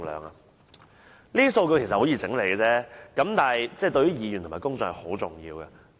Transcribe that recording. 這些數據其實十分容易整理，但對議員及公眾是很重要的。